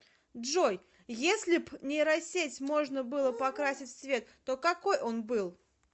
джой еслиб нейросеть можно было покрасить в цвет то какой он был